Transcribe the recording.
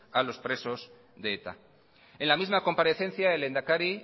a los presos de eta en la misma comparecencia el lehendakari